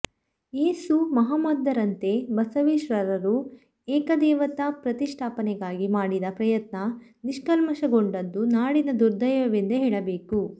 ಯೇಸು ಮಹಮ್ಮದರಂತೆ ಬಸವೇಶ್ವರರು ಏಕದೇವತಾ ಪ್ರತಿಷ್ಠಾಪನೆಗಾಗಿ ಮಾಡಿದ ಪ್ರಯತ್ನ ನಿಷ್ಫಲಗೊಂಡದ್ದು ನಾಡಿನ ದುರ್ದೈವವೆಂದೇ ಹೇಳಬೇಕು